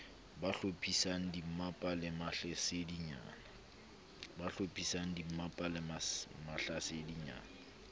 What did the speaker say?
ba hlophisang dimmapa le mahlasedinyana